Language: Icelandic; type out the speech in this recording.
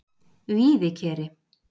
Víðikeri